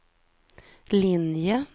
linje